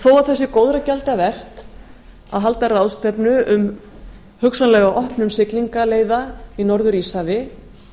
þó að það sé góðra gjalda vert að halda ráðstefnu um hugsanlega opnun siglingaleiða í norður íshafi